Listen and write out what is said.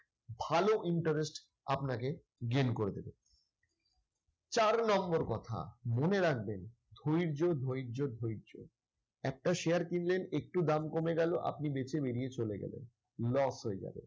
ভালো interest আপনাকে gain করে দেবে। চার নম্বর কথা মনে রাখবেন ধৈর্য ধৈর্য ধৈর্য। একটা share কিনলেন, একটু দাম কমে গেল আপনি বেচে বেরিয়ে চলে গেলেন। loss হয়ে যাবে।